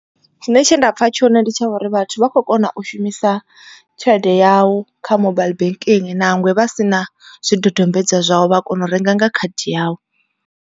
Tshine tshe nda pfha tshone ndi tsha uri vhathu vha khou kona u shumisa tshelede yau kha mobile banking nangwe vha si na zwidodombedzwa zwau vha kona u renga nga khadi yau.